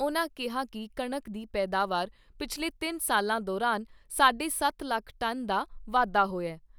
ਉਨ੍ਹਾਂ ਕਿਹਾ ਕਿ ਕਣਕ ਦੀ ਪੈਦਾਵਾਰ ਪਿਛਲੇ ਤਿੰਨ ਸਾਲਾਂ ਦੌਰਾਨ ਸਾਢੇ ਸੱਤ ਲੱਖ ਟਨ ਦਾ ਵਾਧਾ ਹੋਇਆ।